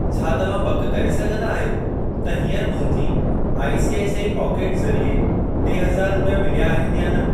छा तव्हां पक करे सघंदा आहियो त हीअंर मुंहिंजी आईसीआईसीआई पोकेटस ज़रिए टे हज़ार रुपिया मिलिया आहिनि या न।